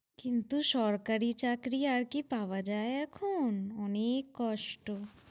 কিন্তু সরকারি চাকরি আর কি পাওয়া যায় এখন? অনেক কষ্ট।